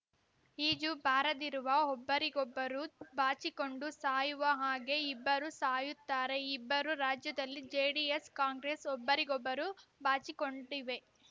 ಈಜು ಬಾರದಿರುವ ಒಬ್ಬರಿಗೊಬ್ಬರು ಬಾಚಿಕೊಂಡು ಸಾಯುವ ಹಾಗೆ ಇಬ್ಬರು ಸಾಯುತ್ತಾರೆ ಇಬ್ಬರೂ ರಾಜ್ಯದಲ್ಲಿ ಜೆಡಿಎಸ್‌ ಕಾಂಗ್ರೆಸ್‌ ಒಬ್ಬರಿಗೊಬ್ಬರು ಬಾಚಿಕೊಂಡಿವೆ